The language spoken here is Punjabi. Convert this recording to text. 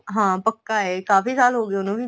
ਹਾਂ ਪੱਕਾ ਏ ਕਾਫ਼ੀ ਸਾਲ ਹੋ ਗਏ ਉਹਨੂੰ ਵੀ